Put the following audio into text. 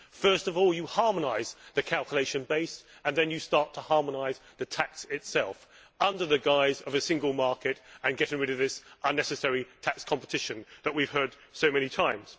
First of all you harmonise the calculation base and then you start to harmonise the tax itself under the guise of a single market and getting rid of this unnecessary tax competition that we have heard about so many times.